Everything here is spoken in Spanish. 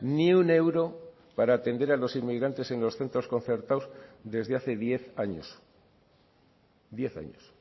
ni un euro para atender a los inmigrantes en los centros concertados desde hace diez años diez años